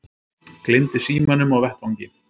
Gleymdi símanum á vettvangi